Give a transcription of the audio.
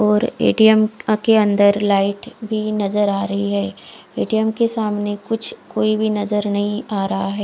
और ए_टी_ऍम के अंदर लाइट भी नजर आ रही है ए_टी_ऍम के सामने कुछ कोई भी नजर नही आ रहा है।